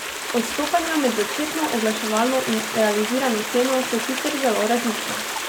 Odstopanja med začetno oglaševano in realizirano ceno so sicer zelo različna.